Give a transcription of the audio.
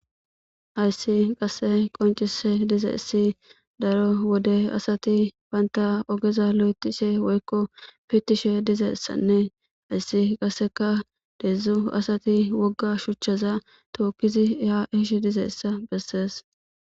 Ayssi qasse qoncise dize issi daro wode asati baynta ogeza lo'etishe woykko pitishe dizessanne ayssi qasseka deedzdzu asati wogga shuchchaza tookkizi ya eshe dizeessa bessees